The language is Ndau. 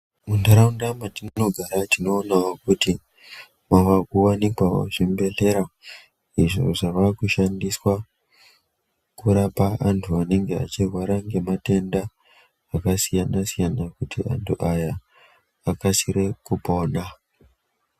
Muntaraunda matinogara tinoonawo kuti mavakuwanikwawo zvibhedhlera izvo zvavakushandiswa kurapa vantu vanenge vachirwara nematenda akasiyana siyana kuti antu aya akasire kupona.